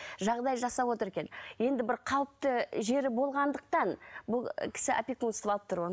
жағдай жасап отыр екен енді бір қалыпты жері болғандықтан бұл кісі опекунство алып тұр ғой